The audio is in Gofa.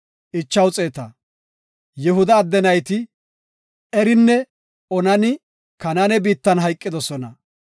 Yihuda adde nayti Erinne Onani Kanaane biittan hayqidosona.